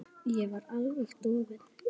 Ég er alveg dofin.